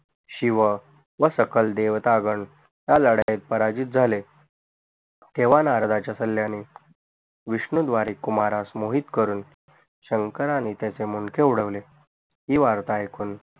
शिव व सकल देवता गण या लढाईत पराजित झाले तेव्हा नारदाच्या सल्याने विष्णु द्वारे कुमारा स मोहित करून शंकराने त्याचे मुंडके उडवले ही वार्ता ऐकून